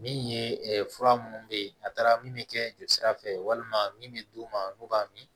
Min ye fura minnu bɛ yen n'a taara min bɛ kɛ jelisira fɛ walima min bɛ d'u ma n'u b'a min